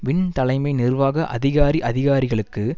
win தலைமை நிர்வாக அதிகாரி அதிகாரிகளுக்கு